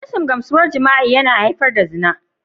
Rashin gamsuwar jima'i yana haifar da zina.